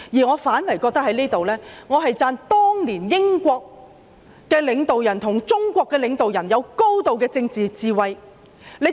我反而認為要稱讚當年英國領導人與中國領導人有高度的政治智慧。